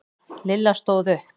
Lilla stóð upp.